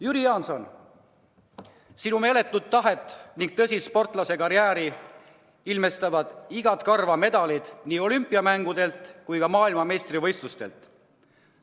Jüri Jaanson, sinu meeletut tahet ning tõsist sportlasekarjääri tõestavad igat karva medalid nii olümpiamängudelt kui ka maailmameistrivõistlustelt.